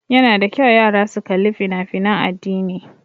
Ya na da kyau yara su kali fina fina addini